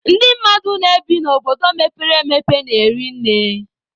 Ndị mmadụ na-ebi n'obodo mepere emepe na-eri nne.